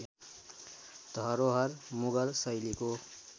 धरोहर मुगल शैलीको